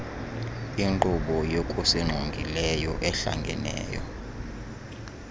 inkqubo yokusingqongileyo ehlangeneyo